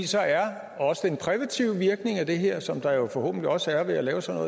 så er også den præventive virkning af det her som der jo forhåbentlig også er ved at lave sådan